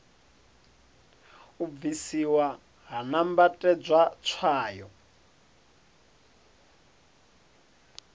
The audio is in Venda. u bvisiwa ha nambatedzwa tswayo